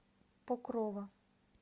покрова